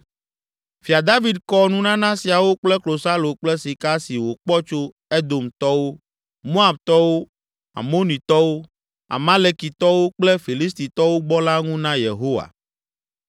Fia David kɔ nunana siawo kple klosalo kple sika si wòkpɔ tso Edomtɔwo, Moabtɔwo, Amonitɔwo, Amalekitɔwo kple Filistitɔwo gbɔ la ŋu na Yehowa.